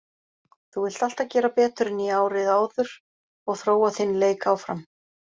Þú vilt alltaf gera betur en í árið áður og þróa þinn leik áfram.